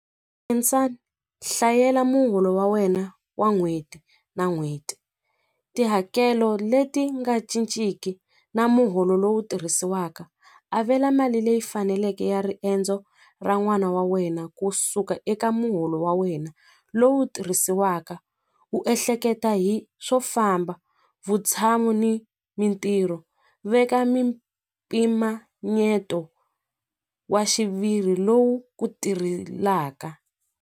hlayela muholo wa wena wa n'hweti na n'hweti tihakelo leti nga cinciki na muholo lowu tirhisiwaka avela mali leyi faneleke ya riendzo ra n'wana wa wena kusuka eka muholo wa wena lowu tirhisiwaka u ehleketa hi swo famba vutshamo ni mintirho veka mpimanyeto wa xiviri lowu ku tirhelaka.